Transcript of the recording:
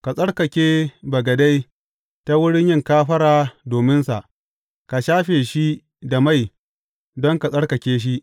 Ka tsarkake bagade ta wuri yin kafara dominsa, ka shafe shi da mai don ka tsarkake shi.